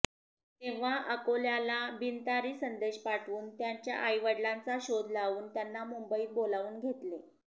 तेव्हा अकोल्याला बिनतारी संदेश पाठवून त्याच्या आईवडिलांचा शोध लावून त्यांना मुंबईत बोलावून घेतले